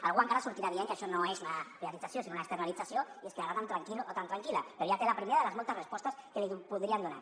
algú encara sortirà dient que això no és una privatització sinó una externalització i es quedarà tan tranquil o tan tranquil·la però ja té la primera de les moltes respostes que li podríem donar